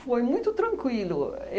Foi muito tranquilo.